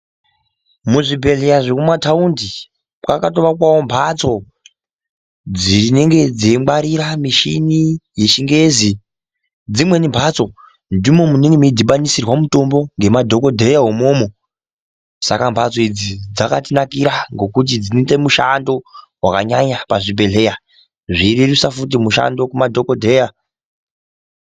Muzvibhedhleya zvekumataundi kwakatovakwavo mhatso dzinenge dzeingwarira mishini yechingezi dzimweni mhatso ndimo mune munodhibanisirwa mitombo ngemadhogodheya imomo. Saka mhatso idzi dzakatinakira ngokuti dzinoita mushando zvakanyanya pachibhedhleya zvirerutsa futi mushando kumadhogodheya.